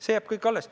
See kõik jääb alles.